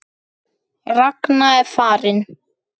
Ragna er farin.